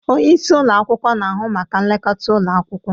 Onye isi ụlọ akwụkwọ na-ahụ maka nlekọta ụlọ akwụkwọ.